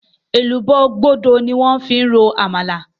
Èlùbọ́ gbódo ni wón fi ń ro Àmàlà